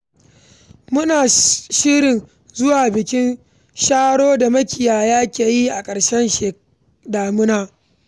Muna shirin zuwa bikin Sharo da makiyaya ke yi a ƙarshen damina.